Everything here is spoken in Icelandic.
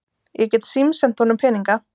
Ég get símsent honum peninga.